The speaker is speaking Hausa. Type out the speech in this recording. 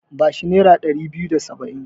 Ba shi nera ɗari biyu da saba'in.